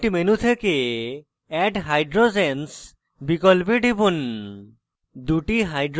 model kit menu থেকে add hydrogens বিকল্পে টিপুন